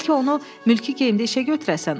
Bəlkə onu mülki geyimdə işə götürəsiz?